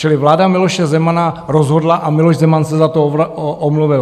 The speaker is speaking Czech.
Čili vláda Miloše Zemana rozhodla a Miloš Zeman se za to omluvil.